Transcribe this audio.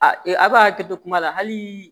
A e a b'a hakili to kuma la hali